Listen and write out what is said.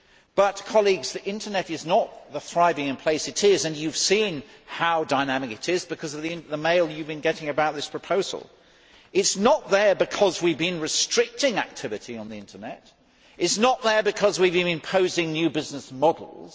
But the Internet is not the thriving place it is and you have seen how dynamic it is because of the mail you have been getting about this proposal it is not there because we have been restricting activity on the Internet, it is not there because we have been imposing new business models.